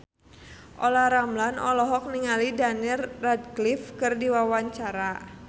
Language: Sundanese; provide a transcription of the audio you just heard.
Olla Ramlan olohok ningali Daniel Radcliffe keur diwawancara